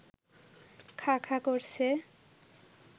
খাঁ খাঁ করছে